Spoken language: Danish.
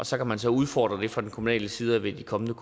så kan man så udfordre det fra kommunal side ved de kommende